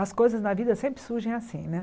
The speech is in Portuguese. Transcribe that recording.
As coisas na vida sempre surgem assim, né?